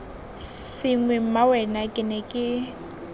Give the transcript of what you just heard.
sengwe mmawena ke ne ke